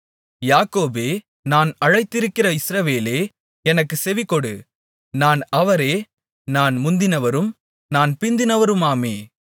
யாக்கோபே நான் அழைத்திருக்கிற இஸ்ரவேலே எனக்குச் செவிகொடு நான் அவரே நான் முந்தினவரும் நான் பிந்தினவருமாமே